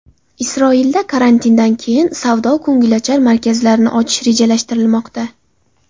Isroilda karantindan keyin savdo-ko‘ngilochar markazlarni ochish rejalashtirilmoqda.